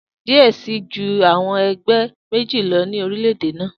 Diẹ ẹ sii ju awọn ẹgbẹ meji lọ ni orilẹ-ede naa.